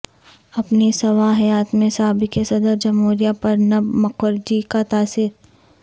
اپنی سوانح حیات میں سابق صدر جمہوریہ پرنب مکرجی کا تاثر